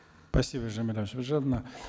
спасибо жамиля нусіпжановна